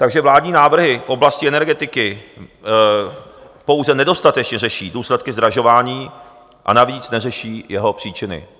Takže vládní návrhy v oblasti energetiky pouze nedostatečně řeší důsledky zdražování, a navíc neřeší jeho příčiny.